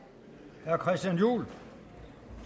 noget